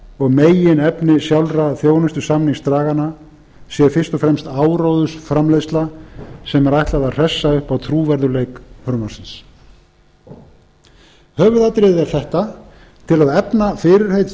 og meginefni sjálfra þjónustusamningsdraganna sé fyrst og fremst áróðursframleiðsla sem er ætlað að hressa upp á trúverðugleik frumvarpsins höfuðatriðið er þetta til að efna fyrirheit